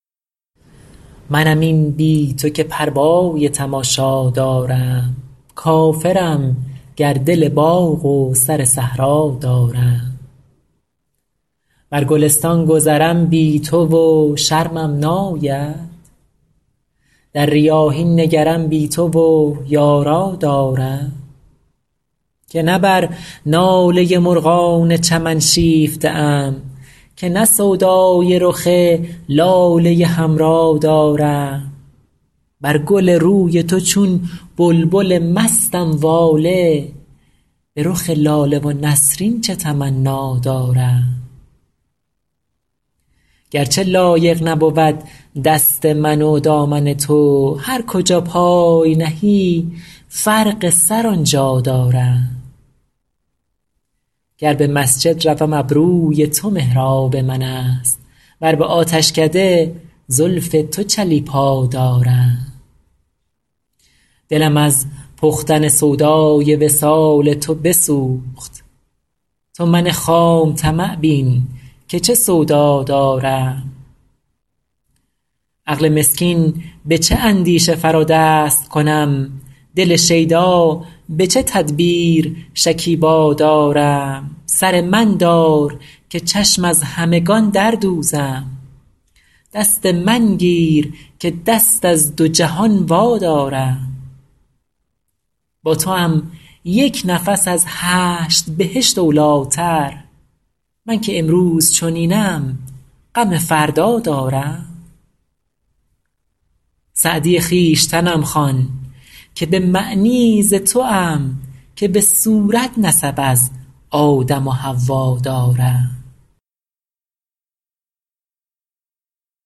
منم این بی تو که پروای تماشا دارم کافرم گر دل باغ و سر صحرا دارم بر گلستان گذرم بی تو و شرمم ناید در ریاحین نگرم بی تو و یارا دارم که نه بر ناله مرغان چمن شیفته ام که نه سودای رخ لاله حمرا دارم بر گل روی تو چون بلبل مستم واله به رخ لاله و نسرین چه تمنا دارم گر چه لایق نبود دست من و دامن تو هر کجا پای نهی فرق سر آن جا دارم گر به مسجد روم ابروی تو محراب من است ور به آتشکده زلف تو چلیپا دارم دلم از پختن سودای وصال تو بسوخت تو من خام طمع بین که چه سودا دارم عقل مسکین به چه اندیشه فرا دست کنم دل شیدا به چه تدبیر شکیبا دارم سر من دار که چشم از همگان در دوزم دست من گیر که دست از دو جهان وادارم با توام یک نفس از هشت بهشت اولی تر من که امروز چنینم غم فردا دارم سعدی خویشتنم خوان که به معنی ز توام که به صورت نسب از آدم و حوا دارم